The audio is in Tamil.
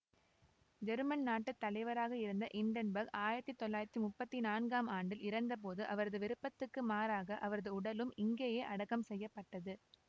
செருமன் நாட்டு தலைவராக இருந்த இன்டென்பர்க் ஆயிரத்தி தொள்ளாயிரத்தி முப்பத்தி நான்காம் ஆண்டில் இறந்தபோது அவரது விருப்பத்துக்கு மாறாக அவரது உடலும் இங்கேயே அடக்கம் செய்ய பட்டது